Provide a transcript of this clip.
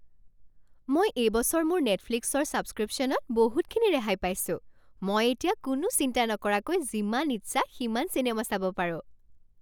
মই এইবছৰ মোৰ নেটফ্লিক্সৰ ছাবস্ক্ৰিপশ্যনত বহুতখিনি ৰেহাই পাইছোঁ। মই এতিয়া কোনো চিন্তা নকৰাকৈ যিমান ইচ্ছা সিমান চিনেমা চাব পাৰোঁ।